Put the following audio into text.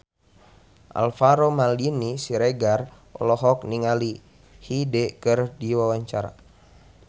Alvaro Maldini Siregar olohok ningali Hyde keur diwawancara